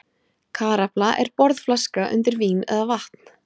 Karafla er borðflaska undir vín eða vatn.